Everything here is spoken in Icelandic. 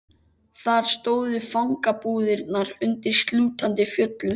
Þar stóðu fangabúðirnar undir slútandi fjöllum.